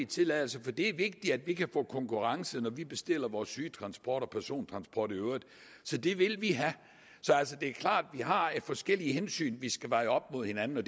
tilladelser for det er vigtigt at vi kan få konkurrence når vi bestiller vores sygetransport og persontransport i øvrigt så det vil vi have så det er klart at vi har forskellige hensyn vi skal veje op imod hinanden og